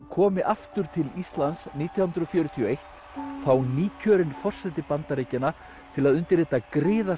komi aftur til Íslands nítján hundruð fjörutíu og eitt þá nýkjörinn forseti Bandaríkjanna til að undirrita